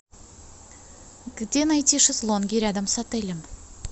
где найти шезлонги рядом с отелем